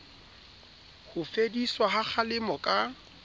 ho fediswa ha kgalemo ka